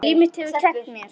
Líf mitt hefur kennt mér.